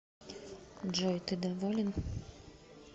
джой ты доволен